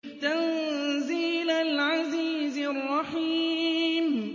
تَنزِيلَ الْعَزِيزِ الرَّحِيمِ